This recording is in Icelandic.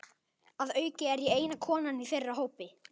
Að auki er ég eina konan í þeirra hópi.